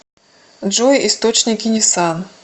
джой источники нисан